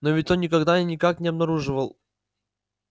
но ведь он никогда и никак не обнаруживал